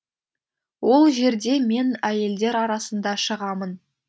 ол жерде мен әйелдер арасында шығамын